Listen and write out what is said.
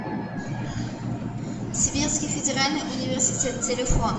сибирский федеральный университет телефон